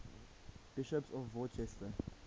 bishops of worcester